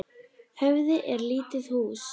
Höfði er lítið hús.